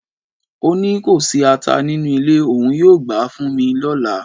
O ni ko si ata ninu ile, oun yoo gba fun mi lola